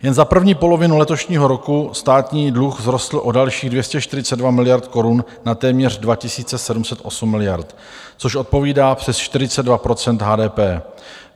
Jen za první polovinu letošního roku státní dluh vzrostl o dalších 242 miliard korun na téměř 2 708 miliard, což odpovídá přes 42 % HDP.